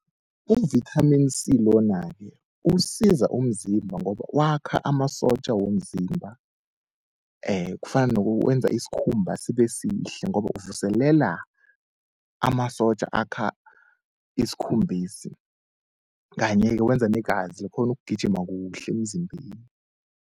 U-vitamin C lona-ke usiza umzimba ngoba wakha amasotja womzimba. Kufana wenza isikhumba sibe sihle ngoba uvuselela amasotja akha isikhumbesi, kanye-ke wenza negazi likhone ukugijima kuhle emzimbeni.